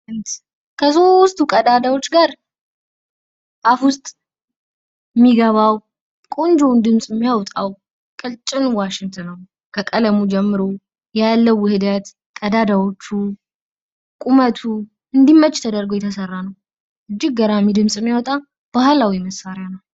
ከሶስቱ ቀዳዳዎች ጋር አፍ ዉስጥ የሚገባው ቆንጆ ድምጽ የሚያወጣው ቀጭን ዋሽንት ነው። ከቀለሙ ጀምሮ ያለዉ ውህደት ቀዳዳዎቹ፣ ቁመቱ፣ እንዲመጭ ተደርጎ የተሰራ ነው። እንጅግ ገራሚ ድምጽ የሚያወጣ ባህላዊ መሳሪያ ነው።